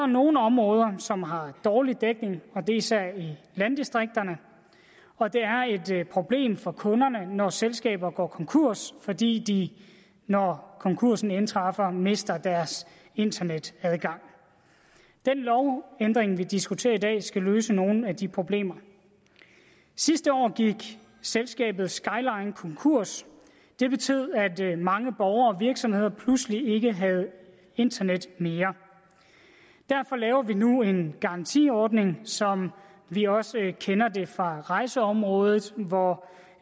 nogle områder som har dårlig dækning og det er især i landdistrikterne og det er et problem for kunderne når selskaber går konkurs fordi de når konkursen indtræffer mister deres internetadgang den lovændring vi diskuterer i dag skal løse nogle af de problemer sidste år gik selskabet skyline konkurs det betød at mange borgere og virksomheder pludselig ikke havde internet mere derfor laver vi nu en garantiordning som vi også kender det fra rejseområdet hvor